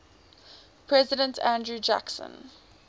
president andrew jackson